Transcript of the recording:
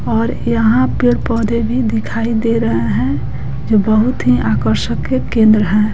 और यहाँ पेड़ पौधे भी दिखाई दे रहा है जो बहुत ही आकर्षक के केंद्र है।